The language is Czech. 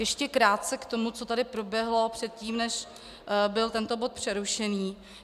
Ještě krátce k tomu, co tady proběhlo předtím, než byl tento bod přerušený.